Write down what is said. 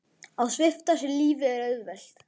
Að svipta sig lífi er auðvelt.